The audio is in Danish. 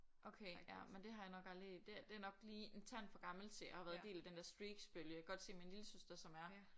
Okay ja men det har jeg nok aldrig det det er nok lige en tand for gammel til at have været del af den der streaks bølge godt se min lillesøster som er